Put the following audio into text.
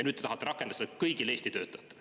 Nüüd te tahate rakendada seda kõigile Eesti töötajatele.